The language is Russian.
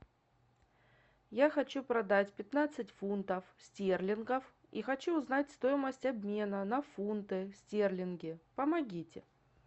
я хочу продать пятнадцать фунтов стерлингов и хочу узнать стоимость обмена на фунты стерлинги помогите